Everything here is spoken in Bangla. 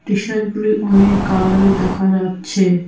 টিশার্টগুলি অনেক কালারের দেখা যাচ্ছে।